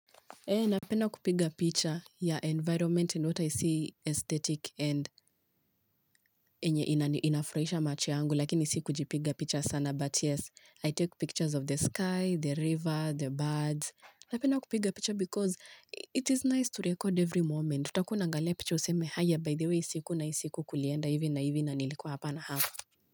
Napenda kupiga picha ya environment in what I see, aesthetic and inafurahisha macho yangu, lakini sikuji piga picha sana. But yes, I take pictures of the sky, the river, the birds. Na pina kupiga picha because it is nice to record every moment. Tukunangale picha useme haya, by the way, siku na siku kulienda hivi na hivi na nilikuwa hapa na hapa.